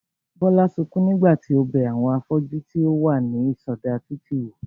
Bólú sukún nígbà tí ó bẹ àwọn afọ́jú tí ó wà ní ìsọdá títì wò